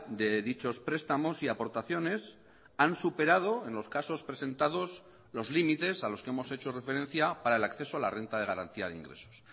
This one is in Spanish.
de dichos prestamos y aportaciones han superado en los casos presentados los límites a los que hemos hecho referencia para el acceso a la renta de garantía de ingresos